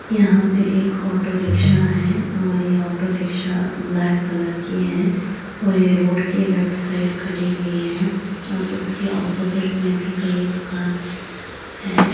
यहाँ पे (पर) एक ऑटो-रिक्शा है और यह ऑटो-रिक्शा ब्लैक कलर की है और ये रोड के लेफ्ट साइड खड़ी हुई है और उसके ऑपोजिट में भी कई दुकान है (हैं)।